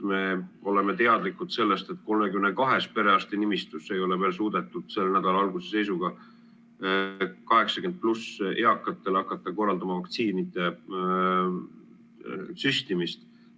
Me oleme teadlikud sellest, et 32 perearstinimistus ei ole veel suudetud selle nädala alguse seisuga 80+ eakatele hakata korraldama vaktsiinide süstimist.